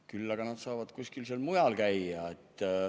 Küll aga nad saavad seal kuskil mujal käia.